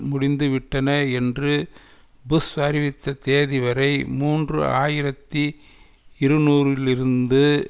முடிந்துவிட்டன என்று புஷ் அறிவித்த தேதி வரை மூன்று ஆயிரத்தி இருநூறுலிருந்து